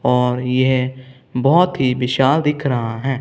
और यह बहोत ही विशाल दिख रहा है।